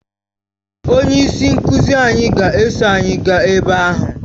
Onye isi nkuzi anyị ga-eso anyị gaa ebe ahụ